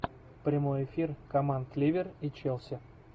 прямой эфир команд ливер и челси